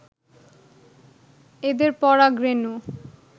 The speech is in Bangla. এদের পরাগ রেণু